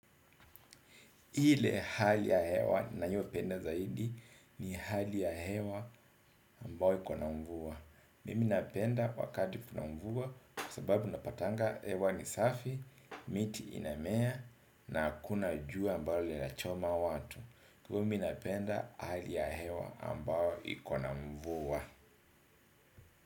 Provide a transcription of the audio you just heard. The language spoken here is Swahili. Ile hali ya hewa nayopenda zaidi ni hali ya hewa ambao iko na mvua. Mimi napenda wakati kuna mvua kwa sababu napatanga hewa ni safi, miti inamea na akuna jua ambalo linachoma watu. Kwa mimi napenda hali ya hewa ambao iko na mvua.